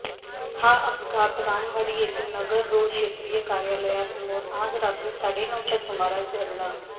हा अपघात रामवाडी येथील नगररोड शेञिय कार्यालया समोर आज रात्री साडेनऊच्या सुमारास घडला